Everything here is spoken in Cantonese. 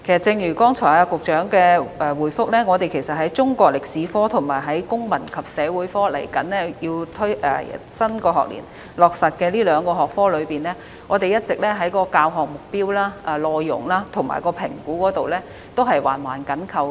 正如局長剛才的答覆，在中國歷史科和新學年即將落實的公民與社會發展科這兩個學科中，教學目標、內容及評估皆環環緊扣。